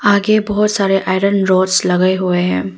आगे बहुत सारे आयरन राडस लगे हुए हैं।